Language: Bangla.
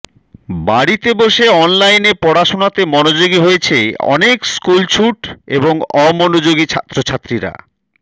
বাড়িতে বসে অনলাইনে পড়াশোনাতে মনোযোগী হয়েছে অনেক স্কুলছুট এবং অমনোযোগী ছাত্রছাত্রীরা